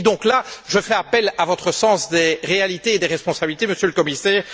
Et donc là je fais appel à votre sens des réalités et des responsabilités, Monsieur le Commissaire.